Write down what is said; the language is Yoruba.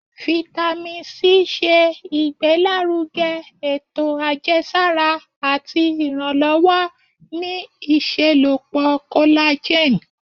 Vitamin C ṣe igbelaruge eto ajẹsara ati iranlọwọ ni iṣelọpọ collagen